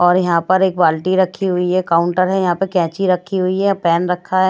और यहां पर एक बाल्टी रखी हुई है काउंटर है यहां पर कैची रखी हुई है पेन रखा है।